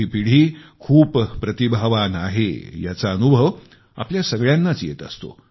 ही पिढी खूप प्रतिभावान आहे याचा अनुभव आपल्या सगळ्यांनाच येत असतो